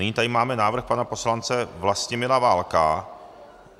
Nyní tady máme návrh pana poslance Vlastimila Válka.